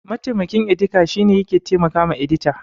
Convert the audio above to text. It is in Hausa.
Mataimakin edita shine yake taimakawa edita.